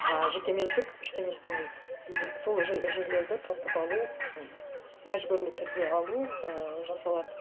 а жекеменшік ештеңе істемейді и сол жерлерді тартып алу м мәжбүрлі түрде алу ііі жасалады